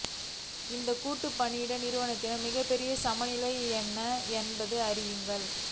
இந்த கூட்டு பணியிட நிறுவனத்தின் மிகப்பெரிய சமநிலை என்ன என்பதை அறியுங்கள்